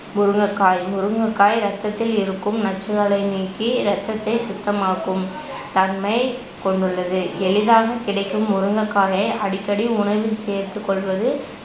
முருங்கைக்காய் முருங்கைக்காய் ரத்தத்தில் இருக்கும் நச்சுகளை நீக்கி ரத்தத்தை சுத்தமாக்கும் தன்மை கொண்டுள்ளது எளிதாகக் கிடைக்கும் முருங்கைக்காயை அடிக்கடி உணவில் சேர்த்துக்கொள்வது